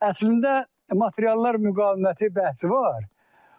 Əslində materiallar müqaviməti bəhsi var.